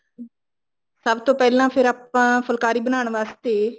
ਸਭ ਤੋਂ ਪਹਿਲਾਂ ਫ਼ੇਰ ਆਪਾਂ ਫੁਲਕਾਰੀ ਬਣਾਉਣ ਵਾਸਤੇ